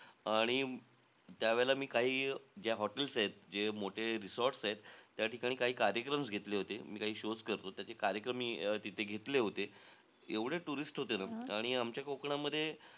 आणि त्यावेळेला मी काही ज्या hotels आहेत, जे मोठे resorts आहेत, त्या ठिकाणी काही कार्यक्रम घेतले होते. मी काही shows करतो. त्याचे कार्यक्रम अं मी तिथे घेतले होते. एवढे tourist होते न. आणि आमच्या कोकणामध्ये,